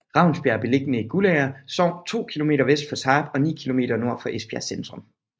Ravnsbjerg er beliggende i Guldager Sogn to kilometer vest for Tarp og ni kilometer nord for Esbjerg centrum